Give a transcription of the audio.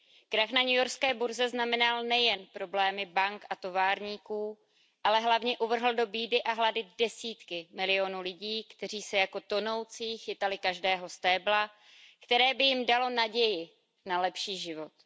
Krach na newyorské burze znamenal nejen problémy bank a továrníků, ale hlavně uvrhl do bídy a hladu desítky milionů lidí, kteří se jako tonoucí chytali každého stébla, které by jim dalo naději na lepší život.